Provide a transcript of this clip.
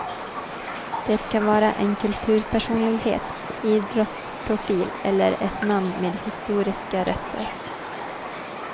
Det kan vara en kulturpersonlighet, idrottsprofil eller ett namn med historiska rötter.